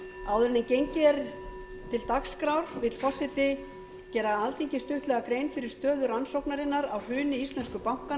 áður en gengið verður til dagskrár vill forseti gera alþingi stuttlega grein fyrir stöðu rannsóknarinnar á hruni íslensku bankanna sem